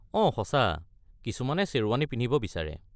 অঁ সঁচা, কিছুমানে শ্বেৰৱানী পিন্ধিব বিচাৰে।